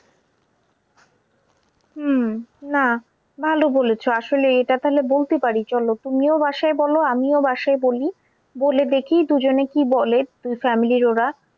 হম না ভালো বলেছো আসলে এটা তাহলে বলতে পারি চলো তুমিও বাসায় বলো আমিও বাসায় বলি বলে দেখি দুজনে কি বলে। দুই family র ওরা